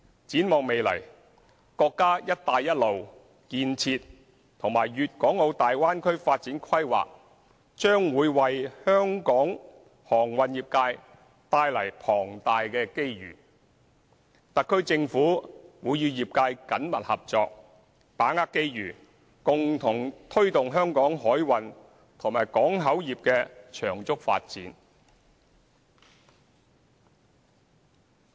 展望未來，國家"一帶一路"建設和粵港澳大灣區發展規劃將會為香港航運業界帶來龐大機遇，特區政府會與業界緊密合作，把握機遇，共同推動香港海運和港口業的長足發展。